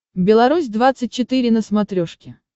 беларусь двадцать четыре на смотрешке